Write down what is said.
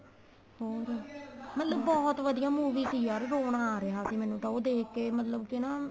ਹੋਰ ਮਤਲਬ ਬਹੁਤ ਵਧੀਆ movie ਸੀ ਯਾਰ ਰੋਣਾ ਆ ਰਿਹਾ ਸੀ ਮੈਨੂੰ ਤਾਂ ਉਹ ਦੇਖ ਕੇ ਮਤਲਬ ਕੀ ਨਾ